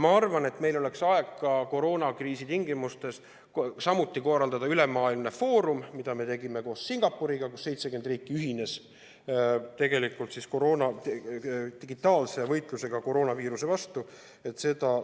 Ma arvan, et meil oleks aeg koroonakriisi tingimustes, kui me koos Singapuriga oleme teinud ülemaailmse foorumi, kus 70 riiki ühines digitaalse võitlusega koroonaviiruse vastu,